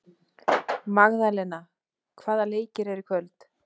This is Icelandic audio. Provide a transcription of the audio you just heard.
Magdalena, hvaða leikir eru í kvöld?